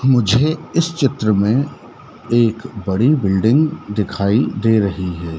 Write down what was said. मुझे इस चित्र में एक बड़ी बिल्डिंग दिखाई दे रही है।